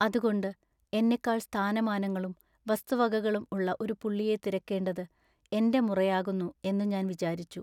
അതുകൊണ്ടു എന്നെക്കാൾ സ്ഥാനമാനങ്ങളും വസ്തുവകകളും ഉള്ള ഒരു പുള്ളിയെ തിരക്കേണ്ടത് എന്റെ മുറയാകുന്നു എന്നു ഞാൻ വിചാരിച്ചു.